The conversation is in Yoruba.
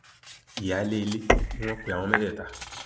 ìyáálé ilé ni wọn pe àwọn mẹtẹẹta